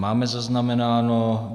Máme zaznamenáno.